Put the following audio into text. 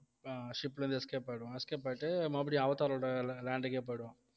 ஆஹ் ship ல இருந்து escape ஆயிடுவான் escape ஆயிட்டு மறுபடியும் அவதாரோட la~ land க்கே போயிடுவான்